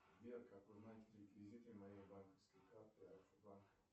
сбер как узнать реквизиты моей банковской карты альфа банк